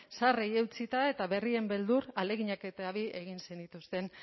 zaharrei eutsita eta berrien beldur ahaleginak eta bi egin zenituzten